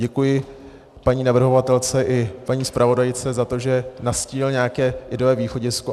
Děkuji paní navrhovatelce i paní zpravodajce za to, že nastínily nějaké ideové východisko.